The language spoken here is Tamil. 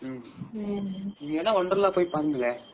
நீங்க வேணா wonderla போய் பாருங்களே